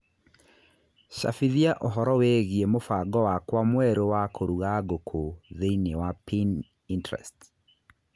cabithia ũhoro wĩgiĩ mũbango wakwa mwerũ wa kũruga ngũkũ thĩinĩ wa Pinterest